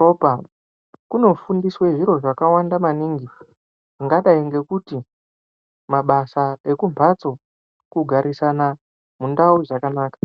ropa kunofundiswe zviro zvakawanda maningi zvingadai ngokuti mabasa okumbatso, kugarisana mundau zvakanaka.